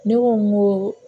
Ne ko n ko